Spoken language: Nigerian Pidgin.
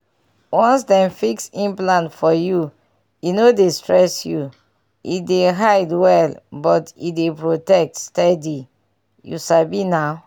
once dem fix implant for you e no dey stress you — e dey hide well but e dey protect steady you sabi na